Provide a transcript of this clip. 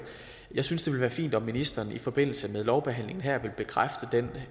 jeg synes det ville være fint om ministeren i forbindelse med lovbehandlingen her vil bekræfte